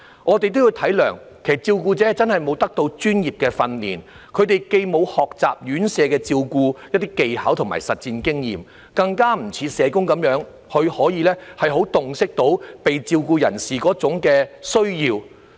我們應體諒照顧者真的沒有接受過專業訓練，既沒有在院舍學習一些照顧技巧和累積實戰經驗，更不像社工那樣可以洞悉被照顧人士的需要。